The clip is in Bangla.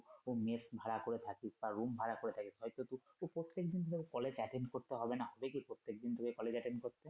মেস ভাড়া করে থাকিস বা room ভাড়া করে থাকিস হয়তো খুব প্রত্যেক তোকে কলেজ attend করতে হবে না দেখিস প্রত্যেক দিন তোকে কলেজ attend করতে হবে না।